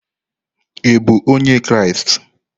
Ị bụ onye Kraịst?